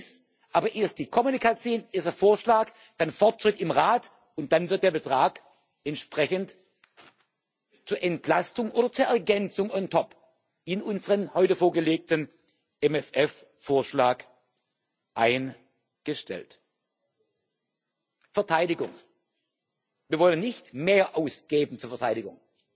Wir wollen dies, aber erst die Kommunikation dieses Vorschlags, dann der Fortschritt im Rat, und dann wird der Betrag entsprechend zur Entlastung oder zur Ergänzung on top in unseren heute vorgelegten MFR Vorschlag eingestellt. Verteidigung Wir wollen nicht mehr ausgeben für Verteidigung,